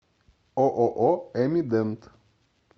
ооо эмидент